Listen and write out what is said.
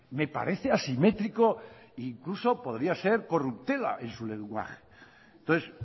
me parece asimétrico incluso podría ser corruptela en su lenguaje entonces